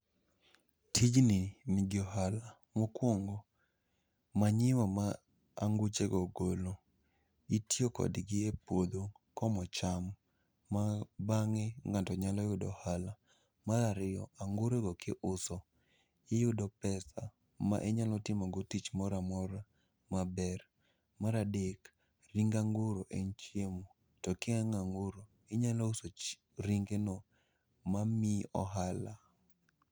Tijni nigi ohala, mokuongo manyiwa ma anguchego golo itiyokodgi e puodho komo cham, ma bang'e ngato nyalo yudo ohala. Marariyo, angurogo ki uso, iyudo pesa ma inyalo timogo tich moramora maber. Maradek, ring anguro en chiemo to kiyang'o anguro, inyalo uso ringeno mamiyi ohala.